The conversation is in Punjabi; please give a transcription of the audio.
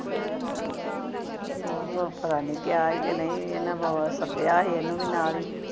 ਉਹ ਪਤਾ ਨਹੀਂ ਗਿਆ ਏ ਕੇ ਨਹੀਂ ਇਹਨੇ ਵਾਹ ਵਾਹ ਸੱਦਿਆ ਸੀ ਉਹਨੂੰ ਵੀ ਨਾਲ ਹੀ